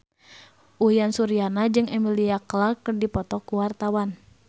Uyan Suryana jeung Emilia Clarke keur dipoto ku wartawan